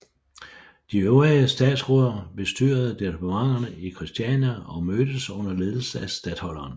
De øvrige statsråder bestyrede departementerne i Christiania og mødtes under ledelse af statholderen